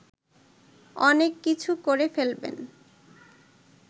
অনেক কিছু করে ফেলবেন